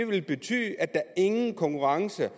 vil betyde at der ingen konkurrence